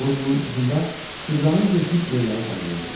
Burnunun ucunda pudranın getmiş yerləri parlayırdı.